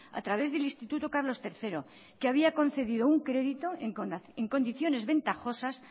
a través del instituto carlos tercero que había concedido un crédito en condiciones ventajosas